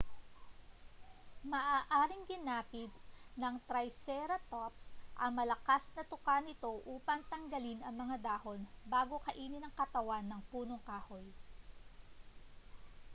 maaaring ginamit ng triceratops ang malakas na tuka nito upang tanggalin ang mga dahon bago kainin ang katawan ng punong kahoy